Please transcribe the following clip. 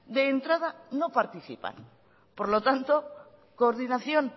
de entrada no participan por lo tanto coordinación